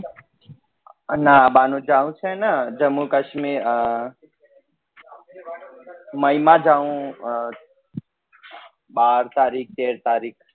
ના બા નું જવું છે ને જમ્મુ કાશ્મીર અ મે ઈ માં જવું બાર તારીખ તેર તારીખ